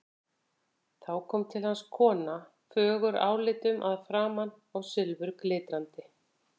Þá kom til hans kona, fögur álitum að framan og silfurglitrandi.